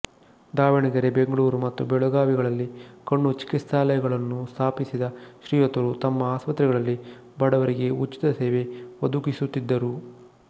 ದಾವಣಗೆರೆ ಬೆಂಗಳೂರು ಮತ್ತು ಬೆಳಗಾವಿಗಳಲ್ಲಿ ಕಣ್ಣು ಚಿಕಿತ್ಸಾಲಯಗಳನ್ನು ಸ್ಥಾಪಿಸಿದ ಶ್ರೀಯುತರು ತಮ್ಮ ಆಸ್ಪತ್ರೆಗಳಲ್ಲಿ ಬಡವರಿಗೆ ಉಚಿತ ಸೇವೆ ಒದಗಿಸುತ್ತಿದ್ದರು